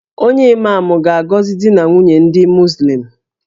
Onye Imam ga-agọzi di na nwunye ndị Muzlim